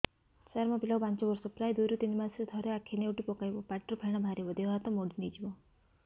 ସାର ମୋ ପିଲା କୁ ପାଞ୍ଚ ବର୍ଷ ପ୍ରାୟ ଦୁଇରୁ ତିନି ମାସ ରେ ଥରେ ଆଖି ନେଉଟି ପକାଇବ ପାଟିରୁ ଫେଣ ବାହାରିବ ଦେହ ହାତ ମୋଡି ନେଇଯିବ